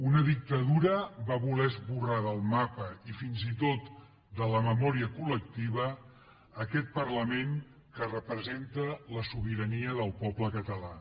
una dictadura va voler esborrar del mapa i fins i tot de la memòria collectiva aquest parlament que representa la sobirania del poble català